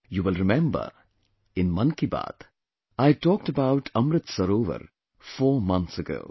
You will remember, in 'Mann Ki Baat', I had talked about Amrit Sarovar four months ago